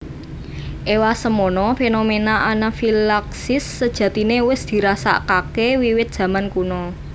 Ewasemono fenomena anafilaksis sejatine wis dirasakake wiwit jaman kuna